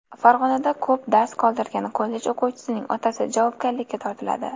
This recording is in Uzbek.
Farg‘onada ko‘p dars qoldirgan kollej o‘quvchisining otasi javobgarlikka tortiladi.